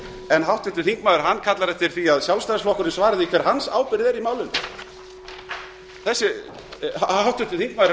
en háttvirtur þingmaður kallar eftir því að sjálfstæðisflokkurinn svari því hver hans ábyrgð er í málinu háttvirtur þingmaður er